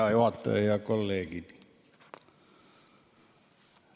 Hea juhataja ja kolleegid!